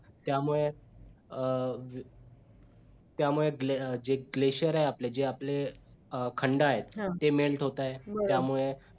त्यामुळे अं त्यामुळे जे gleshar आपले जे आपले अं खंड आहेत ते melt होतायेत त्यामुळे